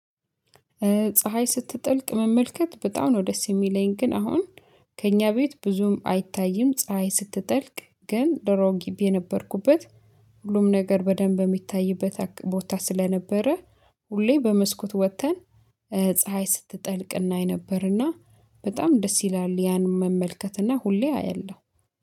ፀሀይ ስትጠልቅ መመልከት በጣም ነው ደስ የሚለኝ። ግን አሁን ከእኛ ቤት ብዙም አይታይም ፀሀይ ስትጠልቅ ግን ዶሮ ግቢ የነበርኩበት። ሁሉም ነገር በደንብ የሚታይበት ቦታ ስለነበረ። ሁሌ በመስኮት ወጥተን ፀሀይ ስትጠልቅ እናይ የነበረና በጣም ደስ ይላል። ያን መመልከት እና ሁሌ አያለሁ